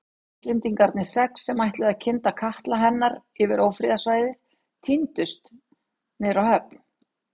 Íslendingarnir sex, sem ætluðu að kynda katla hennar yfir ófriðarsvæðið tíndust niður á höfn.